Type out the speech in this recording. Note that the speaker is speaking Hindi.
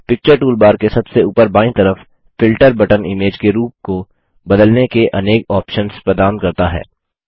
पिक्चर टूलबार के सबसे ऊपर बायीं तरफ फिल्टर बटन इमेज के रूप को बदलने के अनेक ऑप्शन्स प्रदान करता है